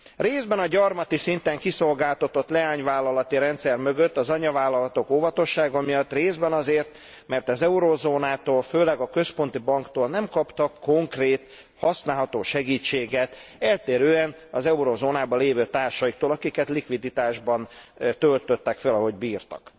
Részben a gyarmati szinten kiszolgáltatott leányvállalati rendszer mögött az anyavállalatok óvatossága miatt, részben azért, mert az eurozónától, főleg a Központi Banktól nem kaptak konkrét, használható segítséget, eltérően az eurozónában lévő társaiktól, akiket likviditásban töltöttek föl, ahogy bírtak.